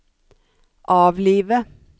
avlive